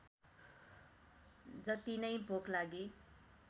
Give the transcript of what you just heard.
जतिनै भोक लागे